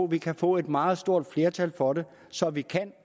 vi kan få et meget stort flertal for den så vi kan